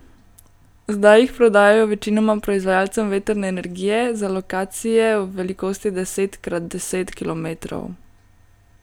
Zdaj jih prodajajo večinoma proizvajalcem vetrne energije za lokacije v velikosti deset krat deset kilometrov.